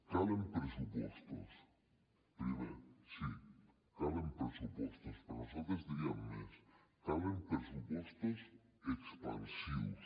calen pressupostos primer sí calen pressupostos però nosaltres diríem més calen pressupostos expansius